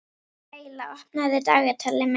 Reyla, opnaðu dagatalið mitt.